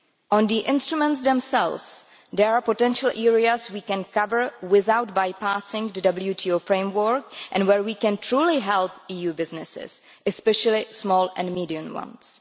On the instruments themselves, there are potential areas we can cover without bypassing the WTO framework and where we can truly help EU businesses, especially small and medium sized ones.